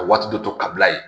Ka waati dɔ to kabila yen